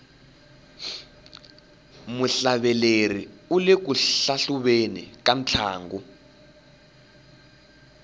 muhlaveleri ule ku hlahluveni ka ntlangu